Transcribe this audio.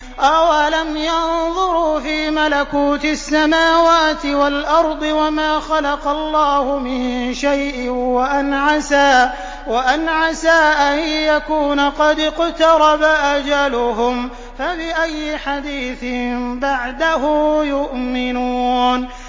أَوَلَمْ يَنظُرُوا فِي مَلَكُوتِ السَّمَاوَاتِ وَالْأَرْضِ وَمَا خَلَقَ اللَّهُ مِن شَيْءٍ وَأَنْ عَسَىٰ أَن يَكُونَ قَدِ اقْتَرَبَ أَجَلُهُمْ ۖ فَبِأَيِّ حَدِيثٍ بَعْدَهُ يُؤْمِنُونَ